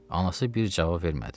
Anası bir cavab vermədi.